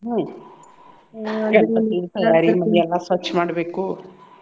ಹ್ಮ್ ಎಲ್ಲಾ ಸ್ವಚ್ ಮಾಡ್ಬೇಕು.